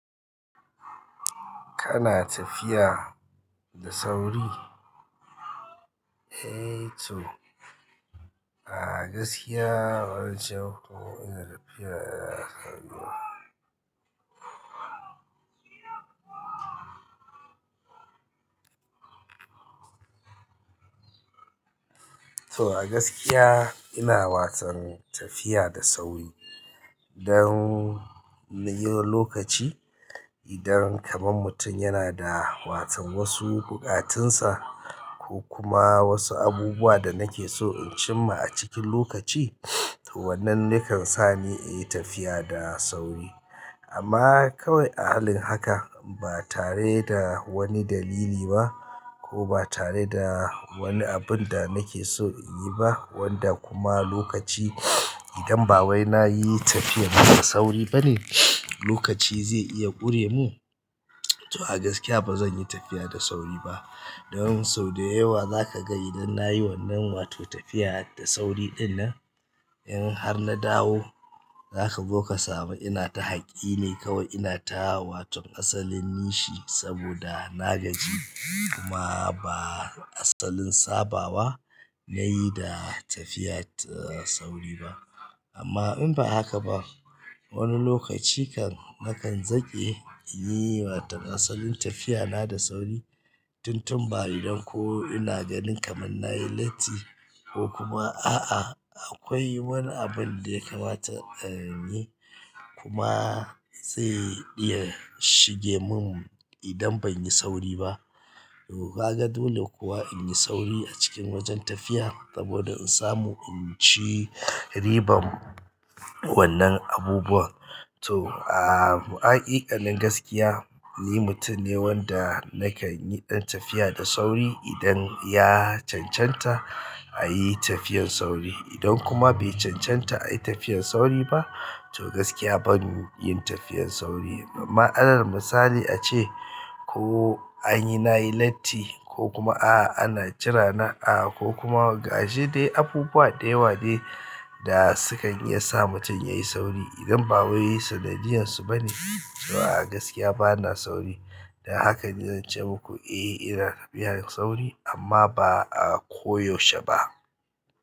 Kana tafiya da sauri? Eh to a gaskiya bazan ce muku ina tafiya da sauri. To a gaskiya ina watan tafiya da sauri don na yi wa lokaci idan kaman mutum yana da watan wasu buƙatunsa ko kuma wasu abubuwa da nake so in cimma a cikin lokaci to wannan yakan sa ni in yi tafiya da sauri. Amma kawai a halin haka ba tare da wani dalili ba ko ba tare da wani abun da nake so in yi ba wanda kuma lokaci idan ba wai na yi tafiya da sauri ba ne lokaci zai iya ƙure mu. To a gaskiya ba zan yi tafiya da sauri ba don sau da yawa za ka ga idan na yi wannan wato tafiya da sauri ɗinnan in har na dawo za ka zo ka samu ina ta haƙi ne kawai ina ta watan asalin nishi saboda na gaji kuma ba asalin sabawa nayi da tafiya sauri ba. Amma in ba haka ba wani lokaci kan nakan zaƙe in yi watan asalin tafiyana da sauri tun tun ba idan ko ina ganin kaman na yi latti ko kuma a'a akwai wani abun da ya kamata a yi kuma zai iya shige mun idan ban yi sauri ba. To ka ga dole kuwa in yi sauri a cikin wajen tafiya saboda in samu in ci riban wannan abubuwan. To a, a haƙiƙanin gaskiya ni mutum ne wanda nakan yi ɗan tafiya da sauri idan ya cancanta a yi tafiyan sauri. Idan kuma be cancan ta ayi tafiyar sauri ba to gaskiya ban yin tafiyar sauri. Matsalar misali ace ko an yi nayi latti ko kuma a'a ana jira na a'a ko kuma gashi dai abubuwa da yawa de da sukan iya sa mutum ya yi sauri idan ba wai sanadiyan su ba ne. To a gaskiya bana sauri. Da haka ne zan ce muku eh ina tafiya sauri amma ba a koyaushe ba.